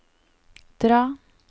dra